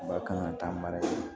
Ba kan ka taa mara